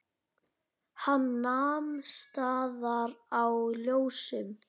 Hann nam staðar á ljósum.